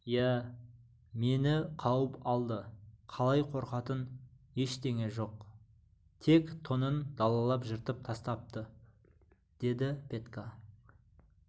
иә мені қауып алды қалай қорқатын ештеңе жоқ тек тонын далалап жыртып тастапты деді петька